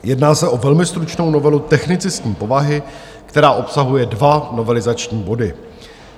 Jedná se o velmi stručnou novelu technicistní povahy, která obsahuje dva novelizační body.